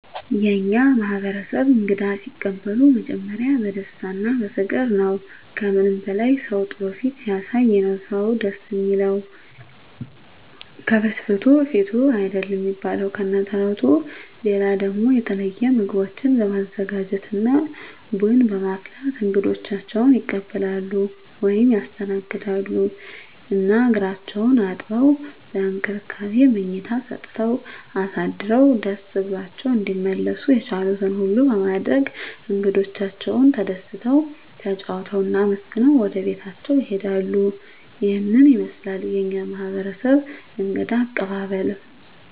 የእኛ ማህበረሰብ እንግዳ ሲቀበሉ መጀመሪያ በደስታ እና በፍቅር ነዉ። ከምንም በላይ ሰዉ ጥሩ ፊት ሲያሳይ ነዉ ደስ እሚለዉ፤ ከፍትፍቱ ፊቱ አይደል እሚባል ከነ ተረቱ። ሌላ ደሞ የተለየ ምግቦችን በማዘጋጀት እና ቡና በማፍላት እንግዶቻቸዉን ይቀበላሉ (ያስተናግዳሉ) ። እና እግራቸዉን አጥበዉ፣ በእንክብካቤ መኝታ ሰጠዉ አሳድረዉ ደስ ብሏቸዉ እንዲመለሱ የቻሉትን ሁሉ በማድረግ እንግዶቻቸዉ ተደስተዉ፣ ተጫዉተዉ እና አመስግነዉ ወደቤታቸዉ ይሄዳሉ። ይሄን ይመስላል የኛ ማህበረሰብ እንግዳ አቀባበል።